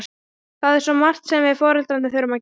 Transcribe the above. Það er svo margt sem við foreldrarnir þurfum að gera.